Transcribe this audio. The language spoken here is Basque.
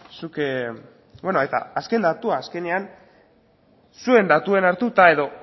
zuk eta azken datua azkenean zuen datuen hartuta edo